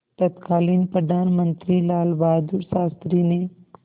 तत्कालीन प्रधानमंत्री लालबहादुर शास्त्री ने